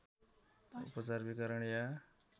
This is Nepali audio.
उपचार विकिरण या